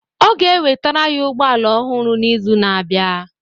Ọ ga-ewetara ya ụgbọ ala ọhụrụ n'izu na-abịa